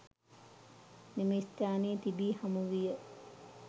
මෙම ස්ථානයේ තිබි හමු විය.